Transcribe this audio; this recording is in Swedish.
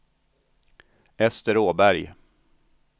Ester Åberg